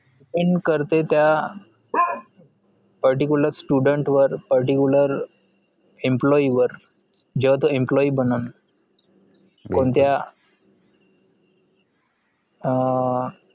in करते त्या particular student वर particular employee वर जेव्हा तो employee बननं अं